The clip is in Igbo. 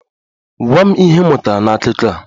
Gwa m ihe ị mụtara n'akụkọ a!